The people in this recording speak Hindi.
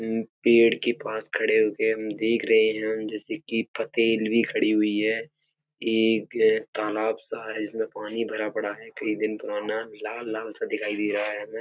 उम्म पेड़ के पास खड़े होके हम देख रहे हैं जैसे कि भी खड़ी हुई है। एक तालाब सा है जिसमें पानी भरा पड़ा है। कई दिन पुराना लाल लाल सा दिखाई दे रहा है हमें।